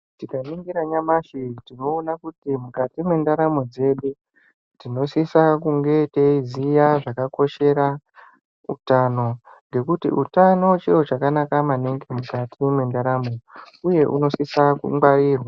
Tikaningira nyamashi tinoona kuti mukati mwendaramu dzedu tinosisa kunge teiziya zvakakoshera utano ngekuti utano chiro chakanaka maningi mukati mwendaramo uye unosisa kungwarirwa.